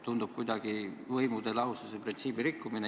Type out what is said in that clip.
Tundub kuidagi võimude lahususe printsiibi rikkumine.